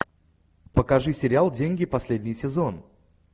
покажи сериал деньги последний сезон